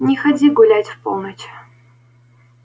не ходи гулять в полночь